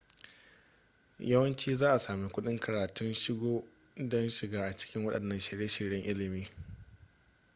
yawanci za a sami kuɗin karatun shiga don shiga cikin waɗannan shirye-shiryen ilimin